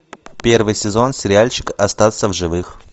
первый сезон сериальчик остаться в живых